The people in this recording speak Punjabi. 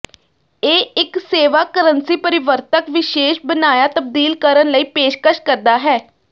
ਇਹ ਇੱਕ ਸੇਵਾ ਕਰੰਸੀ ਪਰਿਵਰਤਕ ਵਿਸ਼ੇਸ਼ ਬਣਾਇਆ ਤਬਦੀਲ ਕਰਨ ਲਈ ਪੇਸ਼ਕਸ਼ ਕਰਦਾ ਹੈ